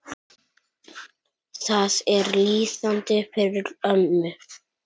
Það er lýsandi fyrir ömmu.